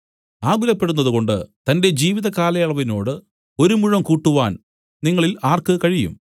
ആകുലപ്പെടുന്നതുകൊണ്ട് തന്റെ ജീവിതകാലയളവിനോട് ഒരു മുഴം കൂട്ടുവാൻ നിങ്ങളിൽ ആർക്ക് കഴിയും